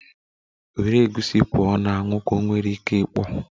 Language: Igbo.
Were egusi pụọ na anwụ! Ka ọ nwere ike ikpọ.